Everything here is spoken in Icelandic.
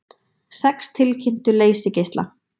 Sex tilkynntu leysigeisla